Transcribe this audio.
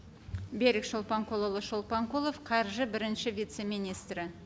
берік шолпанқұлұлы шолпанқұлов қаржы бірінші вице министрі